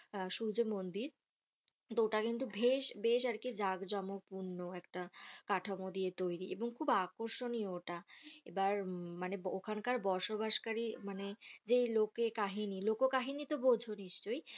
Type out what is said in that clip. আহ সূর্য মন্দির ওটা কিন্তু বেশ জাকজমক পূর্ণ একটা কাঠামো দিয়ে তৈরী এবং খুব আকর্ষণীয় ওটা আবার মানে ওখান কার বসবাস কারী মানে যে লোকো কাহিনী লোকো কাহিনী তো বোঝো নিশ্চয়